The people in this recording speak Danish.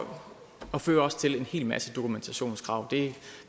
og fører også til en hel masse dokumentationskrav det